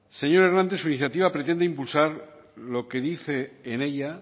señor hernández su iniciativa pretende impulsar lo que dice en ella